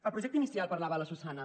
el projecte inicial parlava la susanna